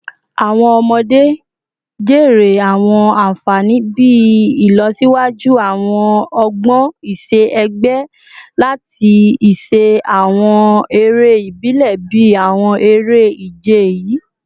Awọn ọmọde jèrè awọn anfani bii ilọsiwaju awọn ọgbọn iṣẹ-ẹgbẹ lati ṣiṣe awọn ere ibile bii awọn ere-ije yii